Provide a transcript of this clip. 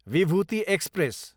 Vibhuti express